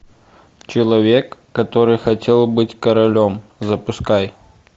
человек который хотел быть королем запускай